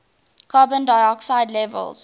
carbon dioxide levels